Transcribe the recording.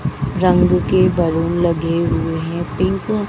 रंग की बैलून लगे हुए हैं पिंक --